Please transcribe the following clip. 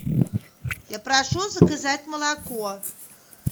я прошу заказать молоко